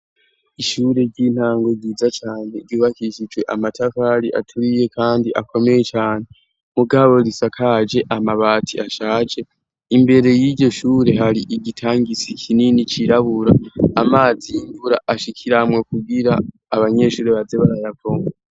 ishure ry'intango ryiza cane ryubakishije amatafari aturiye kandi akomeye cane mugabo risakaje amabati ashaje imbere y'iryo shure hari igitangizi kinini cirabura amazi y'imvura ashikiramwo kubwira abanyeshuri bazebarayavoma